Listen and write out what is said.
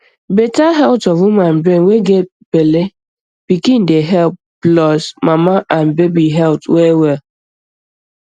better health of woman brain way get bellepikin dey help plus mama and baby heath well well